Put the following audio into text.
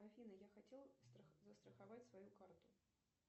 афина я хотел застраховать свою карту